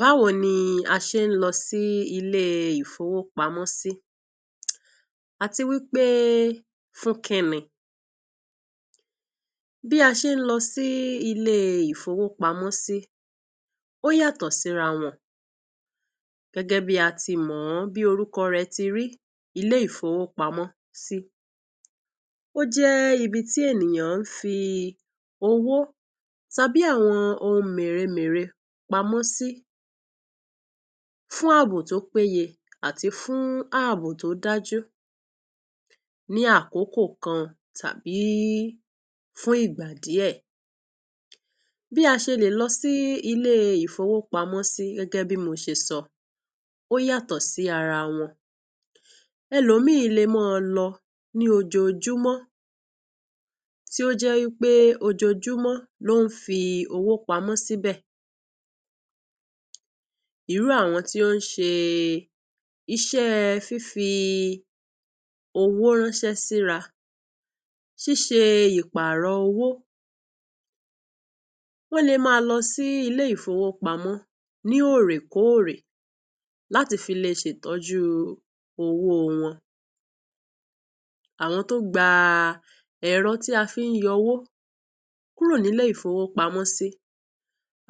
Báwo ni a ṣe lọ sí ilé ìfowópamọ sí, àti fún pé kíni? Bí a ṣe lọ sí ilé ìfowópamọ.́, ó yàtọ.̀ sí rán wán, gẹ.́gẹ.́ bí a ti mọ bí orúkọ rẹ.̀ ti rí. Ilé ìfowópamọ.́, ojé ibi tí ènìyàn fi owó tàbí ohun méreméree pamọ.́ sí, fún àbò tó péye àti fún àbò tó dájú, ní àkókò kan tàbí fún ìgbà díẹ.̀. Bí a ṣe lè lọ sí ilé ìfowópamọ.́, gẹ.́gẹ.́ bí mo ṣe sọ, ó yàtọ.̀ sí ará wán. Ẹlòmíì lè máa lọ lojoojúmọ.́, tí ó jẹ.́ wípé ó jojoojúmọ.́ ló fi owó pamọ.́ síbẹ.̀. Irú àwọn tí ó ṣe iṣẹ.́ fi fi owó ránṣẹ.́ síra, ṣe ìparọ.́ owó, wọ́. n lè máa lọ sí ilé ìfowópamọ.́ ní ọ.̀ rẹ.́kọ.̀ rẹ.́ láti fi lè ṣètọ.́ jú owó wọ́. n. Àwọn tó gba èrò ti à fi yọ owó kúrò ní ilé ìfowópamọ.́ sí,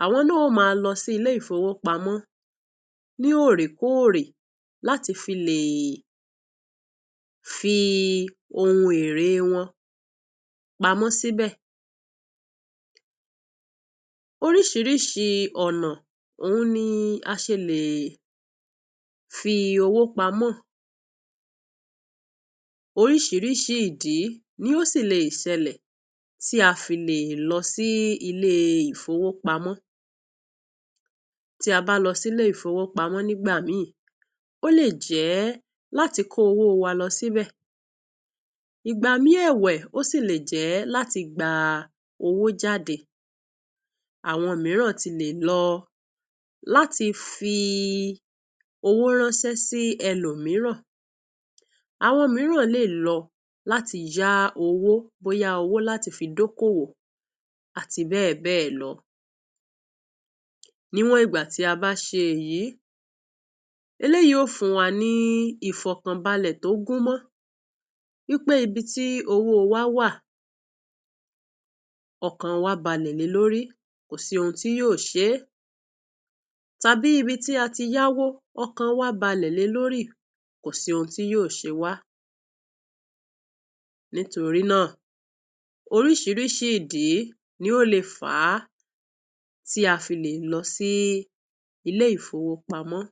àwọn náà yóò máa lọ sí ilé ìfowópamọ.́ sí lẹ.́kọ.̀ ọ.̀ rẹ.́ fi èrè wọ́. n pamọ.́ síbẹ.̀. Ọ.̀ pọ.̀ ọ.̀ nà ni a ṣe lè fi owó pamọ.́. Ọ.̀ pọ.̀ ìdí ló tún lè ṣèlẹ.̀ tí a lè fi lọ sí ilé ìfowópamọ.́. Tí a bá lọ sí ilé ìfowópamọ.́, igbámí olè jẹ.́ láti kó owó wa lọ síbẹ.̀. Nígbà mìíràn ó sì lè jẹ.́ láti gba owó jáde. Àwọn mìíràn náà lè lọ láti fi owó ránṣẹ.́ sí ẹlòmíràn. Àwọn mìíràn lẹ.̀ ló láti yá owó, bóyá owó láti dókówo àti bẹ.́ẹ.̀ bẹ.́ẹ.̀ lọ. Níwọn gbà tí a bá ṣe èyí, èyí yóò fún wa ní ìfọkànbalẹ.̀ tó gùn mọ́. pé ibi tí owó wa wà, ọkàn wa balẹ.̀ lé lórí, kò sí ohun tí yóò ṣe tàbí ibi tí a ti yá owó, ọkàn wa balẹ.̀ lé lórí, kò sì ohun tí yóò ṣẹ.̀ wá. Nítorí náà, oríṣìíríṣìí ìdí ni ó lè fà tí a lè lọ sí ilé ìfowópamọ.́.